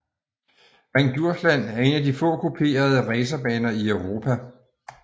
Ring Djursland er en af de få kuperede racerbaner i Europa